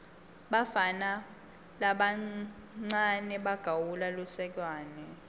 bafana labancawe bagawula lusekwane